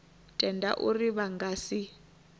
tenda uri vha nga si